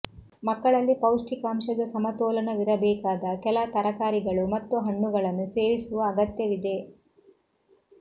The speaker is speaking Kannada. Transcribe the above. ಮಕ್ಕಳಲ್ಲಿ ಪೌಷ್ಟಿಕಾಂಶದ ಸಮತೋಲನವಿರಬೇಕಾದ ಕೆಲ ತರಕಾರಿಗಳು ಮತ್ತು ಹಣ್ಣುಗಳನ್ನು ಸೇವಿಸುವ ಅಗತ್ಯವಿದೆ